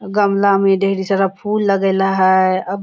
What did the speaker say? गमला में ढेर सारा फुल लगेला है अब --